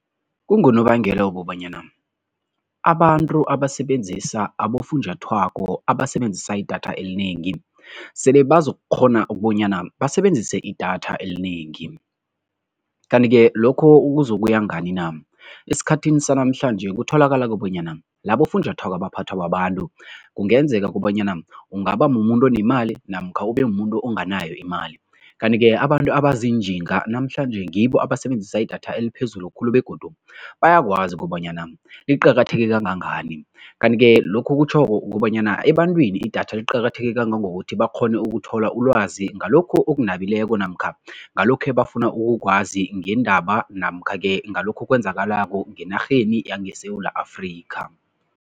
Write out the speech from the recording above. Kungonobangela wokobanyana abantu abasebenzisa abofunjathwako abasebenzisa idatha elinengi, sele bazokukghona ukubonyana basebenzise idatha elinengi kanti-ke lokho kuzokuya ngani na? Esikhathini sanamhlanje kutholakala bonyana labofunjathwako abaphathwa babantu kungenzeka kobanyana ungaba mumuntu onemali namkha ubemumuntu onganayo imali kanti ke abantu abaziinjinga namhlanje ngibo abasebenzisa idatha eliphezulu khulu begodu bayakwazi kobanyana liqakatheke kangangani. Kanti-ke lokhu kutjho kobanyana ebantwini idatha liqakatheke kangangokuthi bakghone ukuthola ulwazi ngalokhu okunabileko namkha ngalokho ebafuna ukukwazi ngeendaba namkha-ke ngalokho okwenzakalako ngenarheni yangeSewula Afrika.